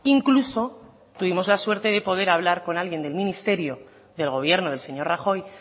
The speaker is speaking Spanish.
incluso tuvimos la suerte de poder hablar con alguien del ministerio del gobierno del señor rajoy